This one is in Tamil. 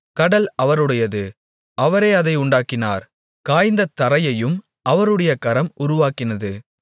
கடல் அவருடையது அவரே அதை உண்டாக்கினார் காய்ந்த தரையையும் அவருடைய கரம் உருவாக்கினது